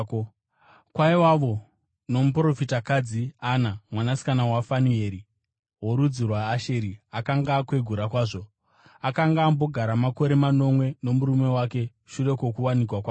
Kwaivawo nomuprofitakadzi, Ana, mwanasikana waFanueri, worudzi rwaAsheri. Akanga akwegura kwazvo; akanga ambogara makore manomwe nomurume wake shure kwokuwanikwa kwake,